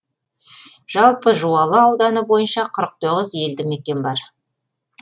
жалпы жуалы ауданы бойынша қырық тоғыз елді мекен бар